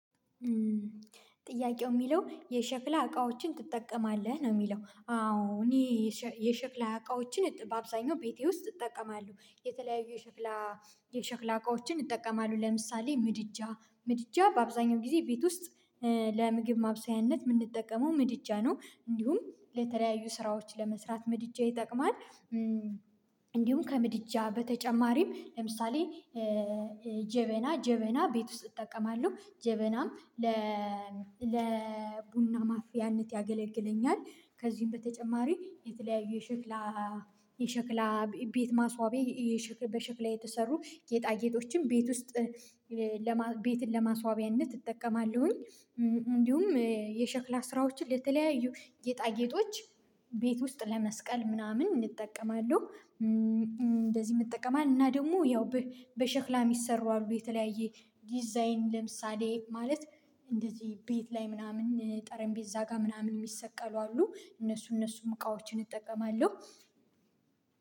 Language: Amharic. ጥያቄው የሚለው የሸክላ እቃዎችን ትጠቀማለህ ነው? የሚለው አዎ እኔ የሸክላ እቃዎችን በአብዛኛው ቤቴ ውስጥ እጠቀማለሁ የተለያዩ የሸክላ የሸክላ እቃዎችን እጠቀማለሁ ለምሳሌ ምድጃ ምድጃ በአብዛኛው ጊዜ ቤት ውስጥ ለምግብ ማብሰያነት የምንጠቀመው ምድጃ ነው እንዲሁም ለተለያዩ ስራዎች ለመስራት ምድጃ ይጠቅማል። እንዲሁም ከምድጃ በተጨማሪም ለምሳሌ ጀበና ጀበና ቤት ውስጥ እጠቀማለሁ ጀበናም ለ ቡና ማፍያነት ያገለግለኛል። ከዚህም በተጨማሪ የተለያዩ የሸክላ የሸክላ ቤት ማስዋቢያ በሸክላ የተሰሩ ጌጣ ጌጦችን ቤት ውስጥ ለመ ቤትን ለማስዋቢያነት እጠቀማለሁኝ። እንዲሁም የሸክላ ስራዎችን ለተለያዩ ጌጣ ጌጦች ቤት ውስጥ ለመስቀል ምናምን እጠቀማለሁ። እንደዚህ እጠቀማለሁ እና ደግሞ ያው በሸክላ የሚሰሩ አሉ የተለያየ ዲዛይን ለምሳሌ ማለት እንደዚህ ቤት ላይ ምናምን ጠረንቤዛ ጋር ምናምን የሚሰቀሉ አሉ እነሱ እነሱም እቃዎችን እጠቀማለሁ።